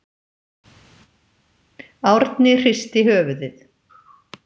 Árni hristi höfuðið.